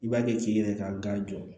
I b'a kɛ k'i yɛrɛ ka gan jɔ